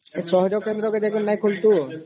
ଏ ସହଜ କେନ୍ଦ୍ର କେ ଯାଇକି ନାଇଁ ଖୋଳୁଛୁ ?